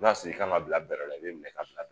N'a y'a sɔrɔ i kan ka bila bɛlɛ la i bɛ minɛ ka bila